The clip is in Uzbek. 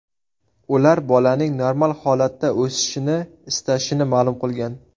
Ular bolaning normal holatda o‘sishini istashini ma’lum qilgan.